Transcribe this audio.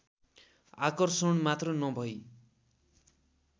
आकर्षण मात्र नभई